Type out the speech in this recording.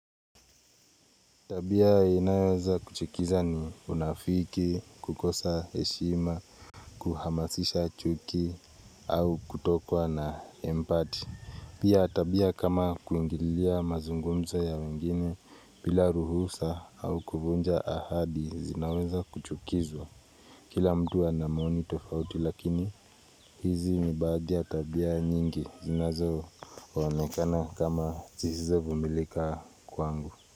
Tabia inayoweza kuchikiza ni unafiki, kukosa heshima, kuhamasisha chuki au kutokwa na empati. Pia tabia kama kuingilia mazungumzo ya wengine bila ruhusa au kuvunja ahadi zinaweza kuchukizwa. Kila mtu ana maoni tofauti lakini hizi ni badhi ya tabia nyingi zinazo one kama kama zihizo vumilika kwangu.